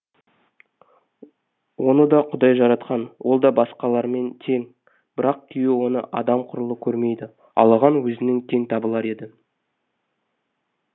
оны да құдай жаратқан ол да басқалармен тең бірақ күйеуі оны адам құрлы көрмейді ал оған өзінің теңі табылар еді